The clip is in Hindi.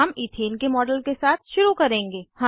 हम इथेन के मॉडल के साथ शुरू करेंगे